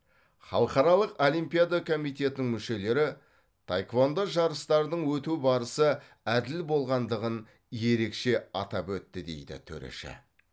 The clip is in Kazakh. халықаралық олимпиада комитетінің мүшелері таеквондо жарыстарының өту барысы әділ болғандығын ерекше атап өтті дейді төреші